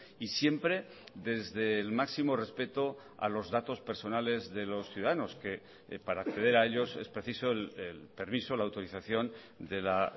y siempre desde el máximo respeto a los datos personales de los ciudadanos que para acceder a ellos es preciso el permiso la autorización de la